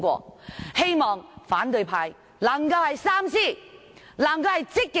我希望反對派三思，積極支持《條例草案》。